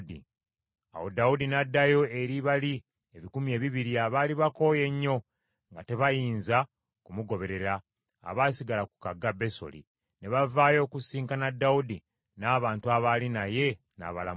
Awo Dawudi n’addayo eri bali ebikumi ebibiri abaali bakooye ennyo, nga tebayinza kumugoberera, abaasigala ku kagga Besoli. Ne bavaayo okusisinkana Dawudi n’abantu abaali naye, n’abalamusa.